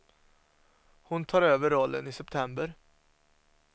Hon tar över rollen i september.